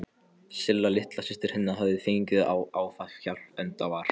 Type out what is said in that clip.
Silla litla systir hennar hafði fengið áfallahjálp, enda var